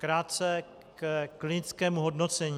Krátce ke klinickému hodnocení.